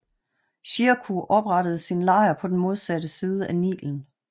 Shirkuh oprettede sin lejr på den modsatte side af Nilen